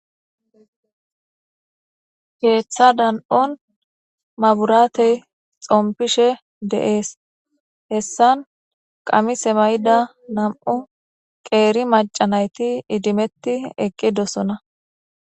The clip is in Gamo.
keeththa dan'on maburaatey xompishe de'ees hessan qamise mayida nam'u qeeri maca nayti idimetti eqqidosona